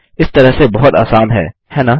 इस तरह से बहुत आसान है है न